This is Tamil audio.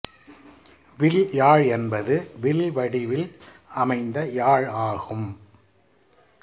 வில் யாழ் என்பது வில் வடிவில் அமைந்த யாழ் ஆகும்